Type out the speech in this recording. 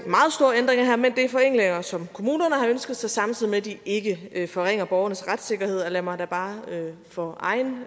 er forenklinger som kommunerne har ønsket sig samtidig med at de ikke forringer borgernes retssikkerhed og lad mig da bare for egen